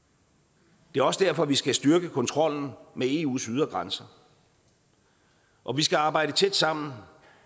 det er også derfor vi skal styrke kontrollen med eus ydre grænser og vi skal arbejde tæt sammen